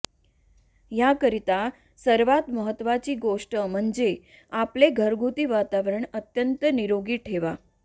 याकरिता सर्वात महत्त्वाची गोष्ट म्हणजे आपले घरगुती वातावरण अत्यंत निरोगी ठेवा